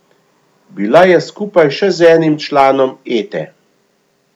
Bila je skupaj še z enim članom Ete.